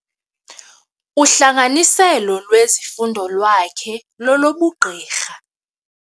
Uhlanganiselo lwezifundo lwakhe lolobugqirha.